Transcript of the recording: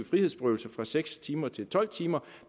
frihedsberøvelse fra seks timer til tolv timer